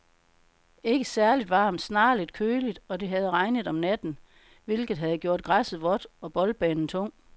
Ikke særligt varmt, snarere lidt køligt, og det havde regnet om natten, hvilket havde gjort græsset vådt og boldbanen tung.